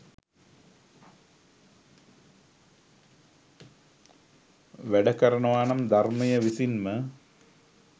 වැඩ කරනවානම් ධර්මය විසින්ම